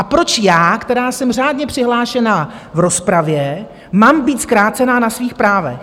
A proč já, která jsem řádně přihlášená v rozpravě, mám být zkrácena na svých právech?